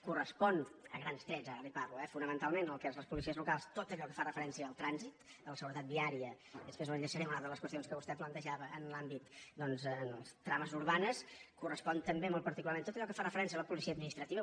els correspon a grans trets ara li parlo eh fonamentalment en el cas de les policies locals tot allò que fa referència al trànsit a la seguretat viària i després ho enllaçaré amb una de les qüestions que vostè plantejava en l’àmbit de les trames urbanes els correspon també molt particularment tot allò que fa referència a la policia administrativa